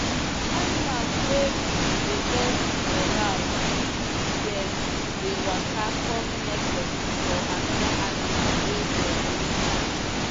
animals wey big dey get moral if them dey waka come meet person or another animal wey them no sabi.